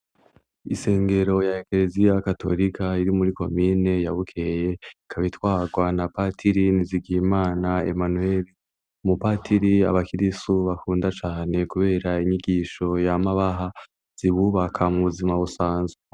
Isengero ya ekereziya katorika iri muri komine ya Bukeye ikabitwarwa na patiri Nizigimana Emanuweri, umupatiri abakirisu bakunda cane kubera inyigisho yamabaha zibubaka mu buzima busanzwe.